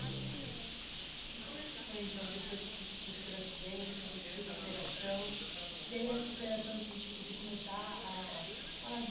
jeito. E como é que foi, então, depois que você teve o acidente, aí você fez a operação, e aí essa operação, assim, tipo, de começar a falar de